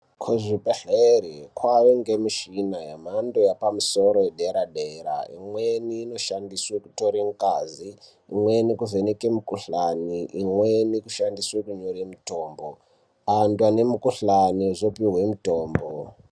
Kuzvibhedhlere kwaange mishina yamhando yapamusoro yedera dera imweni inoshandiswe kutore ngazi imweni kuvheneka mikuhlani imweni kushamdiswe kunyore mitombo anthu ane mikuhlani ozopuwe mitombo.